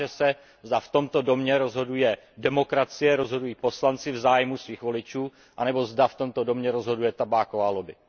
Ukáže se, zda v tomto domě rozhoduje demokracie, rozhodují poslanci v zájmu svých voličů, anebo zda v tomto domě rozhoduje tabáková lobby.